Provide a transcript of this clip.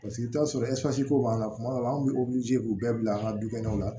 Paseke i t'a sɔrɔ ko b'a la kuma dɔw la an be k'u bɛɛ bila an ga dukɛnɛw la